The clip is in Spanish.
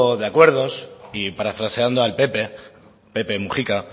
de acuerdos y parafraseando al pepe pepe mujica